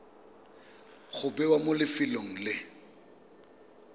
go bewa mo lefelong le